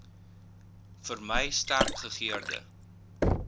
vermy sterk gegeurde